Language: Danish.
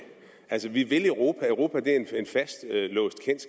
altså vi vil europa og europa